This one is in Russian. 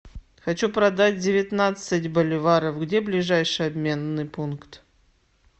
хочу продать девятнадцать боливаров где ближайший обменный пункт